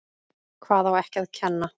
Hvað á ekki að kenna?